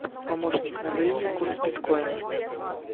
помощник назови мне курс биткоина